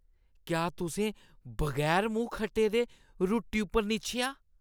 क्या तुसें बगैर मूंह् खट्टे दे रुट्टी उप्पर निच्छेआ ?